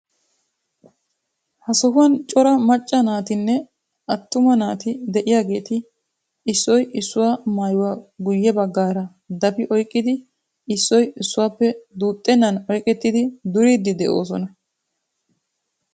Ha sohuwan cora macca naatinne attuma naati de'iyageeti issoy issuwa maayuwa guyye baggaara dafi oyqqidi issoy issuwappe duuxxennan oyqettidi duriiddi de'oosona.